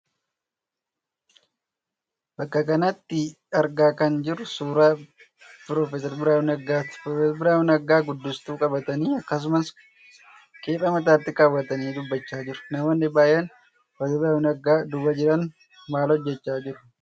Bakka kanatti argaa kan jirru suuraa Pr. Biraanuu Naggaati. Pr. Biraanuun sagalee guddistuu qabatanii akkasumas kephee mataatti kaawwatanii dubbachaa jiru. Namoonni baay'een Pr. Biraanuu Naggaa duuba jiran maal hojjechaa jiru?